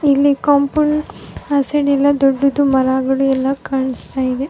ಇಲ್ಲಿ ಕಾಂಪೌಂಡ್ ಆ ಸೈಡ್ ಎಲ್ಲ ದೊಡ್ಡದು ಮರಗಳು ಎಲ್ಲ ಕಾಣಿಸ್ತ ಇದೆ .